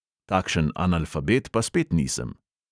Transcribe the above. Takšen analfabet pa spet nisem.